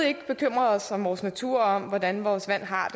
ikke bekymrede os om vores natur og om hvordan vores vand har